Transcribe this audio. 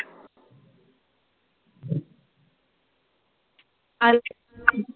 ऐक